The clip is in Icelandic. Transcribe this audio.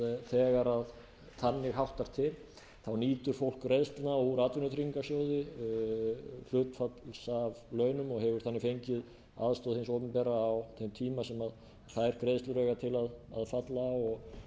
þegar þannig háttar til nýtur fólk greiðslna úr atvinnutryggingasjóði hlutfalls af launum og hefur þannig fengið aðstoð hins opinbera á þeim tíma sem þær greiðslur eiga til að falla